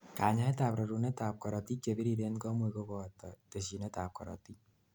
kanyaetab rorunetab korotik chebiriren komuch kobot tesyinetab korotik.